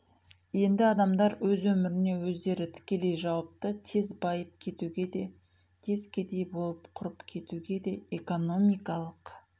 енді адамдар өз өміріне өздері тікелей жауапты тез байып кетуге де тез кедей болып құрып кетуге де экономикалық